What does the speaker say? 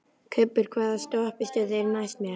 Kubbur, hvaða stoppistöð er næst mér?